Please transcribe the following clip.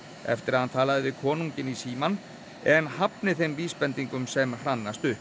eftir að hann talaði við konunginn í símanum en hafni þeim vísbendingum sem hrannast upp